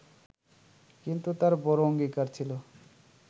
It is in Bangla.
কিন্তু তাঁর বড় অঙ্গীকার ছিল